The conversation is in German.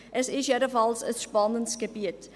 Es ist jedenfalls ein spannendes Gebiet.